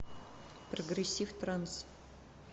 прогрессив транс